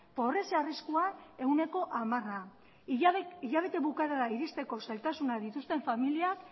pobrezia arriskuan ehuneko hamara hilabete bukaerara iristeko zailtasunak dituzten familiak